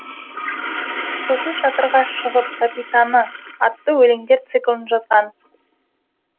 сосын шатырға шығып капитаны атты өлеңдер циклын жазған